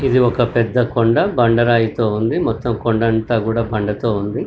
ఇది ఒక పెద్ద కొండ బండ రాయితో ఉంది మొత్తం కొండంత కూడా బండతో ఉంది.